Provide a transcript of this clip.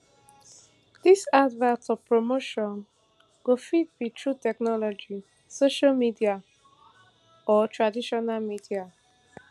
dis advert or promotion go fit be through technology social media or traditional media